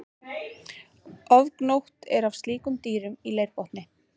Ofgnótt er af slíkum dýrum í leirbotni.